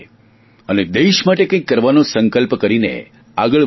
અને દેશ માટે કંઇક કરવાનો સંકલ્પ કરીને આગળ વધીએ